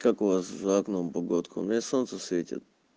как у вас за окном погодка у меня солнце светит